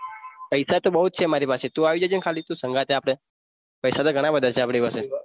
પૈસા તો બહુ જ છે મારી પાસે તું આવી જજે ને ખાલી તું સંગાથે આપણે પૈસા તો ઘણા બધા છે આપણી પાસે